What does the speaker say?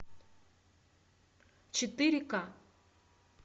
четыре ка